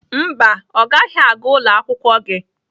Mba, ọ gaghị aga ụlọ akwụkwọ gị.